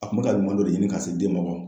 A kun bɛ ka ɲuma dɔ de ɲini ka se den ma